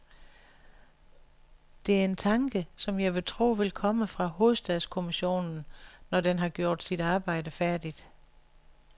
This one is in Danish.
Det er en tanke, som jeg vil tro vil komme fra hovedstadskommissionen, når den har gjort sit arbejde færdigt.